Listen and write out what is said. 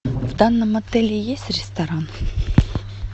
в данном отеле есть ресторан